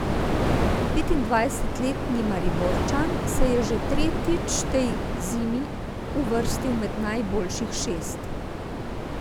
Petindvajsetletni Mariborčan se je še tretjič tej zimi uvrstil med najboljših šest.